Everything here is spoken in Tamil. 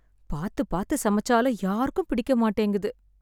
பார்த்து பார்த்து சமைச்சாலும் யாருக்கும் பிடிக்க மாட்டேங்குது